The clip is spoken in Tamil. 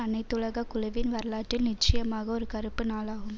அனைத்துலக குழுவின் வரலாற்றில் நிச்சயமான ஒரு கறுப்பு நாளாகும்